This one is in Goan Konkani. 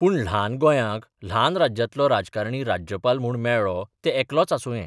पूण ल्हान गोयांक ल्हान राज्यांतलो राजकारणी राज्यपाल म्हूण मेळ्ळो ते एकलोच आसुंये.